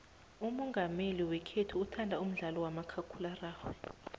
umongameli wekhethu uthanda umdlalo kamakhakhulararhwe